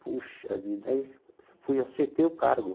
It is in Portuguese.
Puxa vida, aí fui, aceitei o cargo.